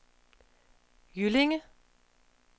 Jyllinge